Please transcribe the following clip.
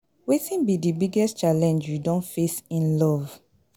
Wetin be di biggest challenge you don face in love?